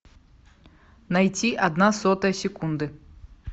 найти одна сотая секунды